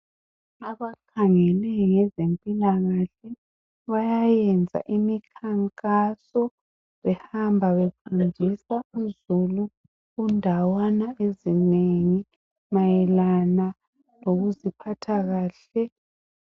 Abakhangele ngezempilakahle bayayenza imikhankaso behamba befundisa uzulu kundawana ezinengi mayelana ngokuziphatha kahle .